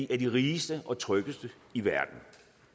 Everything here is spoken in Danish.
af de rigeste og tryggeste i verden